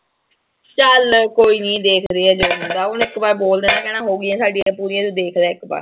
ਚਲ ਕੋਈ ਨੀਂ ਦੇਖਦੇ ਆਂ ਜੋ ਹੁੰਦਾ, ਉਹਨੂੰ ਇਕ ਵਾਰ ਬੋਲਦਾਂ ਗੇ ਨਾ, ਹੋਗੀਆਂ ਸਾਡੀਆਂ ਪੂਰੀਆਂ, ਤੂੰ ਦੇਖਲਾ ਇੱਕ ਵਾਰ।